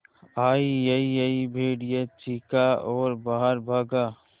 अईयईयई भेड़िया चीखा और बाहर भागा